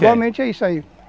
é isso aí